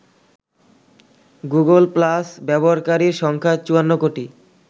Google Plus ব্যবহারকারীর সংখ্যা ৫৪ কোটি।